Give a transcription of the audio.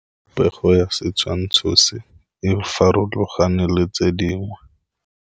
Popêgo ya setshwantshô se, e farologane le tse dingwe.